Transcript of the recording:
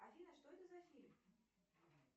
афина что это за фильм